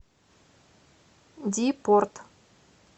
ди порт